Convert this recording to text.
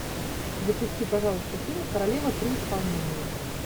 запусти пожалуйста фильм королева при исполнении